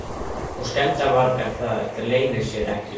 Og skemmdarvargar, það leynir sér ekki.